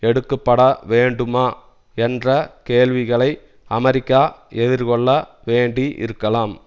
எடுக்குப்பட வேண்டுமா என்ற கேள்விகளை அமெரிக்கா எதிர்கொள்ள வேண்டி இருக்கலாம்